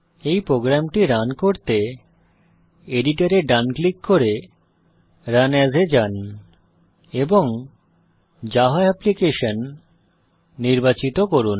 এই প্রোগ্রামটি রান করতে এডিটর এ ডান ক্লিক করে রান এএস এ যান এবং জাভা অ্যাপ্লিকেশন নির্বাচিত করুন